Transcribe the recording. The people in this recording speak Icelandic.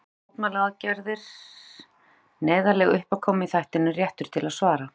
Fjölmennar mótmælaaðgerðir, neyðarleg uppákoma í þættinum Réttur til svara.